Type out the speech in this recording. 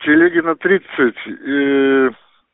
телегина тридцать и